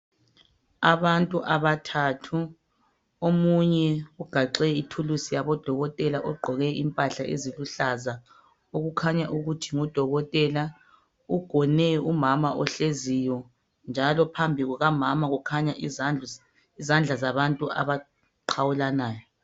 Abantu abathathu, omunye ugaxe ithulusi yabo dokotela ugqoke impahla eziluhlaza okukhanya ukuthi ngudokotela. Ugone umama ohleziyo njalo phambi kuka mama kukhanya izandla zabantu abaqhawulanayo.